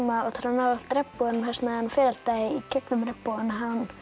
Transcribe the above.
nálægt regnboganum hann fer alltaf í gegnum regnbogann